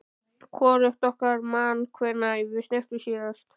Hvorugt okkar man hvenær við snertumst síðast.